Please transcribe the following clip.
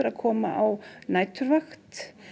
að koma á næturvakt